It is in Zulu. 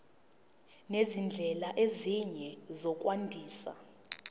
nezindlela ezinye zokwandisa